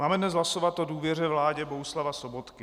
Máme dnes hlasovat o důvěře vládě Bohuslava Sobotky.